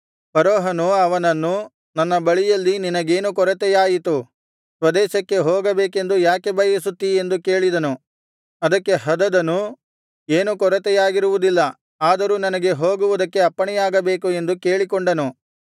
ಫರೋಹನು ಅವನನ್ನು ನನ್ನ ಬಳಿಯಲ್ಲಿ ನೀನಗೇನು ಕೊರತೆಯಾಯಿತು ಸ್ವದೇಶಕ್ಕೆ ಹೋಗಬೇಕೆಂದು ಯಾಕೆ ಬಯಸುತ್ತೀ ಎಂದು ಕೇಳಿದನು ಅದಕ್ಕೆ ಹದದನು ಏನೂ ಕೊರತೆಯಾಗಿರುವುದಿಲ್ಲ ಆದರೂ ನನಗೆ ಹೋಗುವುದಕ್ಕೆ ಅಪ್ಪಣೆಯಾಗಬೇಕು ಎಂದು ಕೇಳಿಕೊಂಡನು